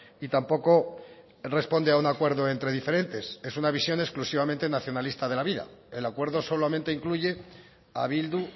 y tampoco responde a un acuerdo entre diferentes es una visión exclusivamente nacionalista de la vida el acuerdo solamente incluye a bildu